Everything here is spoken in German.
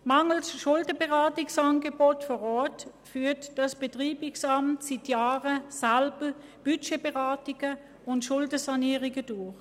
Mangels Schuldenberatung vor Ort führt das Betreibungsamt selber seit Jahren Budgetberatungen und Schuldensanierungen durch.